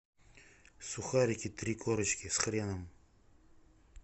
сухарики три корочки с хреном